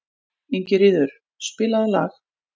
Ingiríður, spilaðu lag.